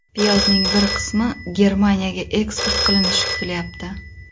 Piyozning bir qismi Germaniyaga eksport qilinishi kutilayapti.